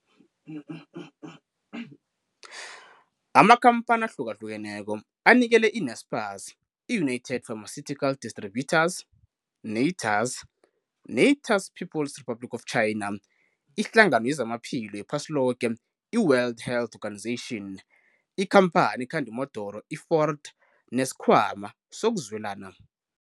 Amakhamphani ahlukahlukeneko anikele i-Naspers, iiUnited Pharmaceutical Distributors, netors, netors People's Republic of China. iHlangano yezamaPhilo yePhasiloke, i-WHO, ikhamphani ekhanda imodoro i-Ford nesiKhwama sokuZwelana.